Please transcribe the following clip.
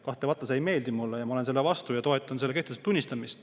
Kahtlemata see ei meeldi mulle ja ma olen selle vastu ja toetan selle kehtetuks tunnistamist.